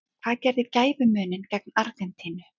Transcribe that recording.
Hvað gerði gæfumuninn gegn Argentínu?